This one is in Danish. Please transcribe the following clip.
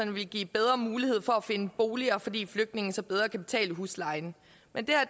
vil give bedre mulighed for at finde boliger fordi flygtninge så bedre kan betale huslejen men